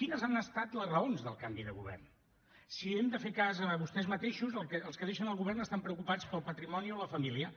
quines han estat les raons del canvi de govern si hem de fer cas de vostès mateixos els que deixen el govern estan preocupats pel patrimoni o la família